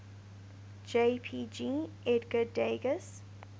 jpg edgar degas